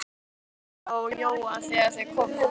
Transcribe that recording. Það var enginn heima hjá Jóa þegar þeir komu þangað.